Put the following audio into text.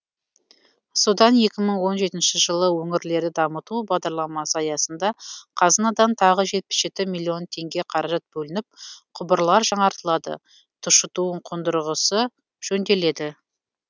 содан екі мың он жетінші жылы өңірлерді дамыту бағдарламасы аясында қазынадан тағы жетпіс жеті миллион теңге қаражат бөлініп құбырлар жаңартылады тұщыту қондырғысы жөнделеді